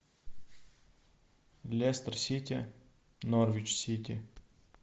лестер сити норвич сити